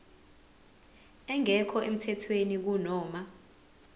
engekho emthethweni kunoma